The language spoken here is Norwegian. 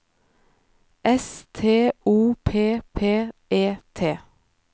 S T O P P E T